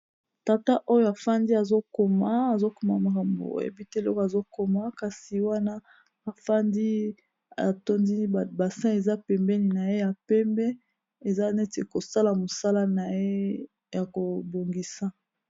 Tata oyo afandi azokoma azokoma makambo oyebi te eloko azokoma kasi wana afandi atondi basin eza pembeni na ye ya pembe eza neti kosala mosala na ye ya kobongisa.